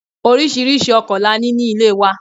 Oríṣiríṣi ọkọ la ní ilé wa.